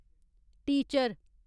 teacher